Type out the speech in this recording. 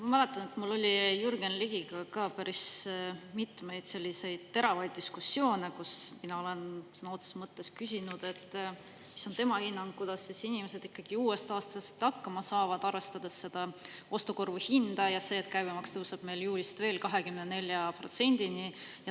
Ma mäletan, et mul oli Jürgen Ligiga ka päris mitmeid selliseid teravaid diskussioone, kus mina olen sõna otseses mõttes küsinud, mis on tema hinnang, kuidas inimesed ikkagi uuest aastast hakkama saavad, arvestades ostukorvi hinda ja seda, et käibemaks tõuseb meil juulist veel 24%-ni.